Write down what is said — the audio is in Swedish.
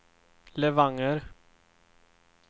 Levanger